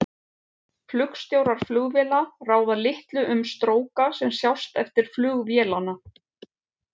Flugstjórar flugvéla ráða litlu um stróka sem sjást eftir flug vélanna.